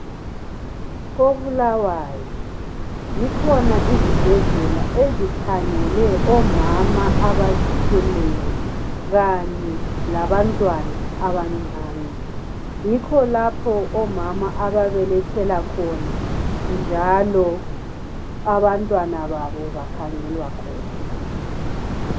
koBulawayo zikhona izibhedlela ezikhangele omama abazithweleyo kanye labantwana abancane yikho lapho omama ababelethela khona njalo abantwana babo bakhangelwa khona